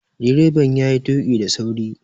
Direban yayi tuƙi da sauri